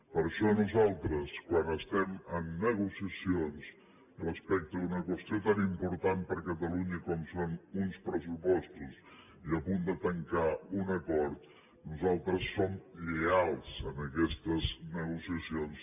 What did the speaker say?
per això nosaltres quan estem amb negociacions respecte a una qüestió tan important per a catalunya com són uns pressupostos i a punt de tancar un acord nosaltres som lleials en aquestes negociacions